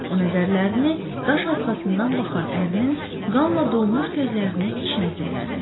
O nəzərlərini daş arxasından baxan ərinin qanla dolmuş gözlərinin içinə zillədi.